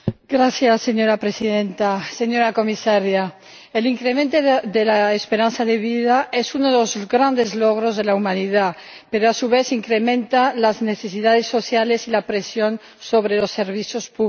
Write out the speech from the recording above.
Señora Presidenta, señora Comisaria, el incremento de la esperanza de vida es uno de los grandes logros de la humanidad pero, a su vez, incrementa las necesidades sociales y la presión sobre los servicios públicos.